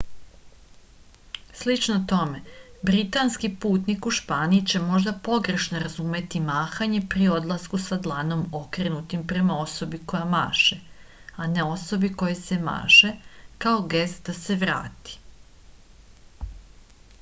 слично томе британски путник у шпанији ће можда погрешно разумети махање при одласку са дланом окренутим према особи која маше а не особи којој се маше као гест да се врати